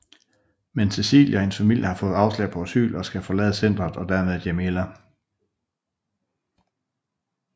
Men Cecilie og hendes familie har fået afslag på asyl og skal forlade centret og dermed Jamila